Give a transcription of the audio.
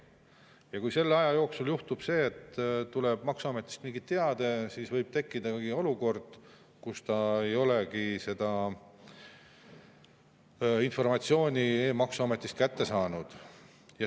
Ja kui selle aja jooksul juhtub see, et tuleb maksuametist mingi teade, siis võib tekkida olukord, kus ta ei olegi seda informatsiooni e‑maksuametist kätte saanud.